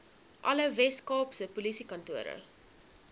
alle weskaapse polisiekantore